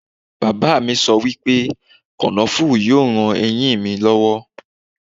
Bàbá mi sọ wípé kànáfùrú yóò ran eyín mi lọ́wọ́.